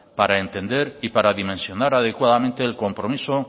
para entender y para dimensionar adecuadamente el compromiso